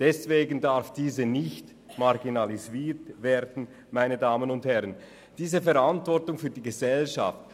Deswegen darf diese nicht marginalisiert werden, dies aus Verantwortung für die Gesellschaft.